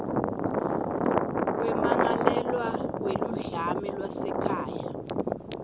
kwemmangalelwa weludlame lwasekhaya